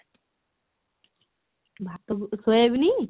ଭାତ କୁ soyabean?